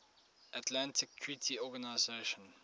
atlantic treaty organisation